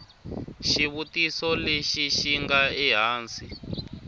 xivutiso lexi xi nga ehansi